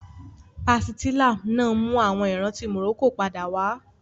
Pàsìtílà náà mú àwọn ìrántí Morocco padà wá